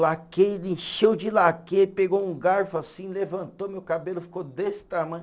Laquê e ele encheu de laquê, pegou um garfo assim, levantou meu cabelo, ficou desse tamanho.